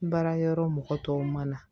Baara yɔrɔ mɔgɔ tɔw ma na